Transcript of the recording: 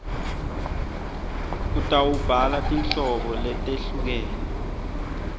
utawubhala tinhlobo letehlukene